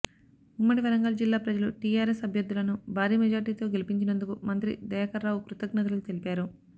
ఉమ్మడి వరంగల్ జిల్లా ప్రజలు టీఆర్ఎస్ అభ్యర్ధులను భారీ మెజార్టీతో గెలిపించినందుకు మంత్రి దయాకర్రావు కృతజ్ఞతలు తెలిపారు